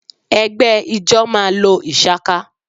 Ẹ̀gbẹ́ ijọ́ ma lo ìshaká